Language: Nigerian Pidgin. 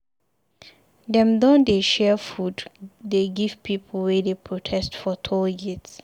Den don dey share food dey give pipu wey dey protest for toll gate.